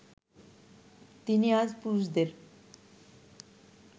তিনি আজ পুরুষদের